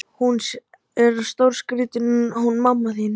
Hún er stórskrítin hún mamma þín.